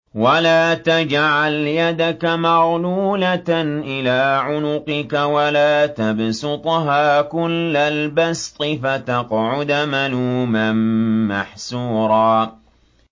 وَلَا تَجْعَلْ يَدَكَ مَغْلُولَةً إِلَىٰ عُنُقِكَ وَلَا تَبْسُطْهَا كُلَّ الْبَسْطِ فَتَقْعُدَ مَلُومًا مَّحْسُورًا